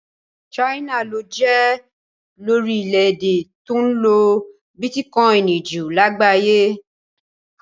China ló jẹ́ lórílẹ̀ èdè tó ń lo bitikọini jù lágbàáyé.